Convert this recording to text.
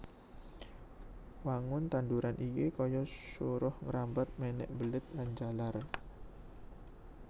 Wangun tanduran iki kaya suruh ngrambat mènèk mbelit lan njalar